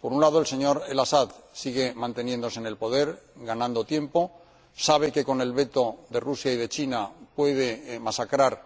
Por un lado, el señor El Asad sigue manteniéndose en el poder, ganando tiempo sabe que con el veto de Rusia y de China puede masacrar